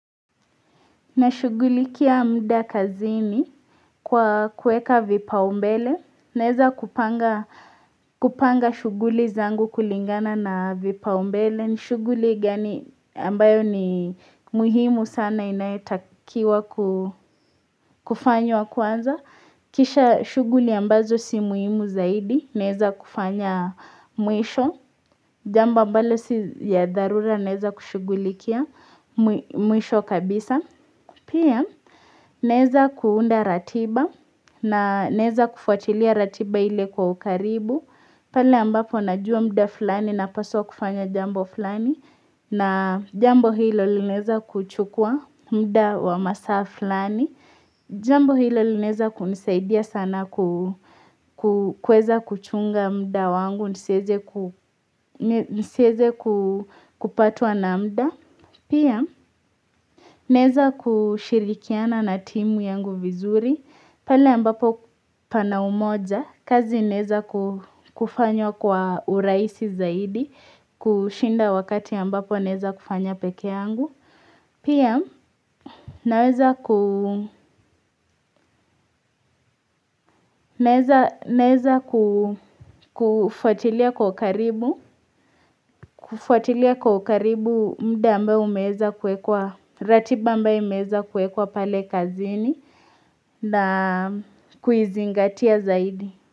Na shugulikia mda kazini kwa kueka vipaumbele naeza kupanga shughuli zangu kulingana na vipaumbele ni shuguli gani ambayo ni muhimu sana inaitakiwa kufanywa kwanza Kisha shuguli ambazo si muhimu zaidi naeza kufanya mwisho jambo ambalo si ya dharura naeza kushugulikia mwisho kabisa Pia, nezakuunda ratiba na neza kufuatilia ratiba ile kwa ukaribu. Pale ambapo najua mda fulani na paswa kufanya jambo fulani. Na jambo hilo lineza kuchukua mda wa masa fulani. Jambo hilo lineza kunisaidia sana kueza kuchunga mda wangu, niseze kupatwa na mda. Pia, nezakushirikiana na timu yangu vizuri, pale ambapo pana umoja, kazi neza kufanywa kwa uraisi zaidi, kushinda wakati ambapo neza kufanya peke yangu. Pia naweza ku neza kufuatilia kwa karibu kufuatilia kwa karibu mda mba umeza kwekwa ratiba mbaye umeza kwekwa pale kazini na kuizingatia zaidi.